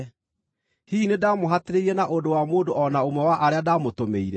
Hihi nĩndamũhatĩrĩirie na ũndũ wa mũndũ o na ũmwe wa arĩa ndamũtũmĩire?